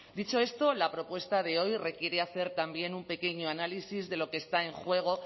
dicho esto la propuesta de hoy requiere hacer también un pequeño análisis de lo que está en juego